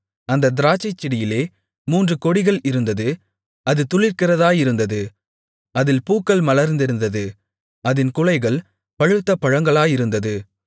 அந்தத் திராட்சைச்செடியிலே மூன்று கொடிகள் இருந்தது அது துளிர்க்கிறதாயிருந்தது அதில் பூக்கள் மலர்ந்திருந்தது அதின் குலைகள் பழுத்த பழங்களாயிருந்தது